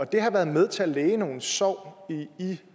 det har været med til at læge nogle sår i